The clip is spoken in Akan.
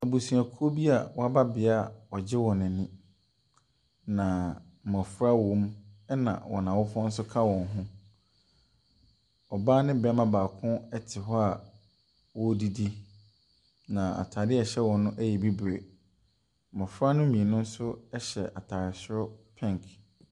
Abusuakuo bi a wɔaba bea a wɔregye hɔn ani, na mmɔfra wɔm na wɔn awofoɔ nso ka wɔn ho. Ɔbaa ne barima baako te hɔ a wɔredidi. Na ataadeɛ a ɛhyɛ wɔn no yɛ bibire. Mmɔfra no mmienu nso hyɛ ataare soro pink.